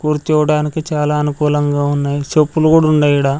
కూర్చోవడానికి చాలా అనుకూలంగా ఉన్నాయి చెప్పులు కుడా వుండాయి ఈడ.